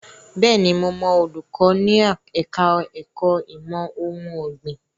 Bẹ́ẹ̀ni, mo mọ olùkọ́ ní ẹ̀ka ẹ̀kó ìmọ̀ ohun ọ̀gbìn.